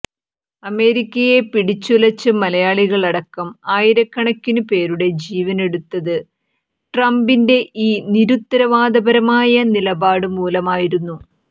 അമേരിക്കയെ പിടിച്ചുലച്ച് മലയാളികളടക്കം ആയിരക്കണക്കിനു പേരുടെ ജീവനെടുത്തത് ട്രംപിന്റെ ഈ നിരുത്തരവാദപരമായ നിലപാടു മൂലമായിരുന്നു